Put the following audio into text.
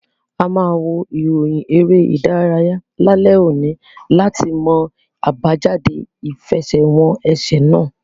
A ma wo iroyin ere idaraya lalẹ oni lati mọ abajade ifẹsẹwọnsẹ náà